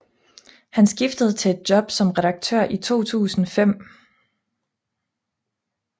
Han skiftede til et job som redaktør i 2005